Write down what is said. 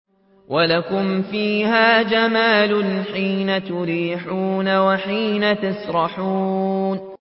وَلَكُمْ فِيهَا جَمَالٌ حِينَ تُرِيحُونَ وَحِينَ تَسْرَحُونَ